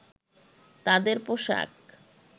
তাদের পোশাক